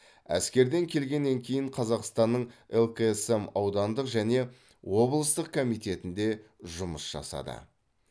әскерден келгеннен кейін қазақстанның лксм аудандық және облыстық комитетінде жұмыс жасады